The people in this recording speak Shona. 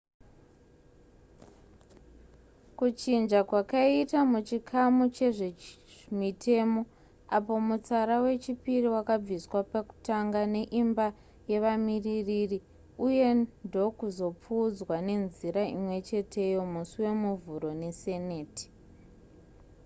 kuchinja kwakaitwa muchikamu chezvemitemo apo mutsara wechipiri wakabviswa pekutanga neimba yevamiririri uye ndokuzopfuudzwa nenzira imwecheteyo musi wemuvhuro neseneti